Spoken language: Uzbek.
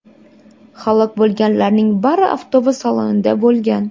Halok bo‘lganlarning bari avtobus salonida bo‘lgan.